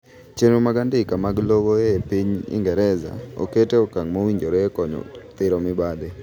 chenro mag andika mag lowoe piny ingereza oket e okang' mowinjore e konyo thiro mibadhi